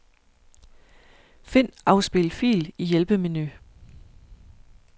Find afspil fil i hjælpemenu.